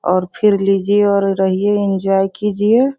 और फिर लीजिए और रहिए इंजॉय कीजिए।